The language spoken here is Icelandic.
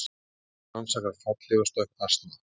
Lögreglan rannsakar fallhlífarstökk asna